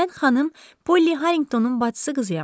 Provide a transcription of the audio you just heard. Mən xanım Polli Harrinqtonun bacısı qızıyam.